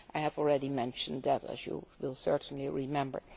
I have already mentioned the others, as you will certainly remember.